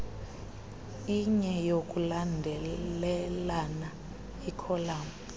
inye yokulandelelana ikholamu